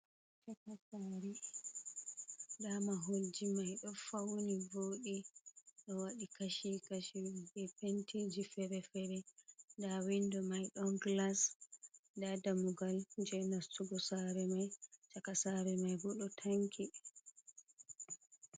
Shaka saare nda vmaholji mai ɗo fawni vodi ɗo waɗi Kashi kashi, be pentiji fere-fere nda windo mai ɗon glas, nda dammugal je nastugo sare mai, chaka sare mai bo ɗo tanki be.